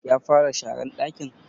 Ya fara sharan ɗakin?